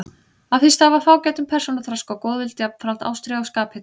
Af því stafar fágætum persónuþroska og góðvild, jafnframt ástríðu og skaphita.